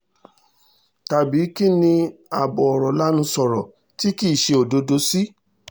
tàbí kín ni abọ̀rọ̀ lanu sọ̀rọ̀ tí kì í ṣe òdodo sí